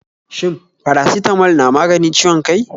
Shin Faracitamol na maganin ciwon kai?